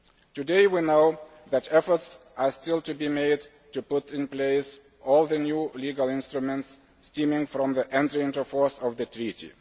Today, we know that efforts are still to be made to put in place all the new legal instruments stemming from the entry into force of the treaty.